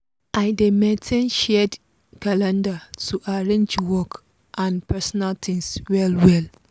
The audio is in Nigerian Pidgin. i dey maintain shared calendar to arrange work and personal things well well.